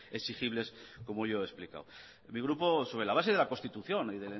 exigibles como yo lo he explicado mi grupo sobre la base de la constitución y